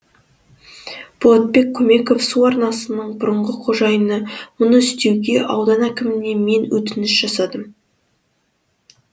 болатбек көмеков су арнасының бұрынғы қожайыны мұны істеуге аудан әкіміне мен өтініш жасадым